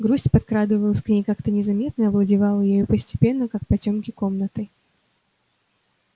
грусть подкрадывалась к ней как-то незаметно и овладевала ею постепенно как потёмки комнатой